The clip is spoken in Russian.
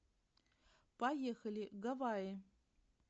поехали гавайи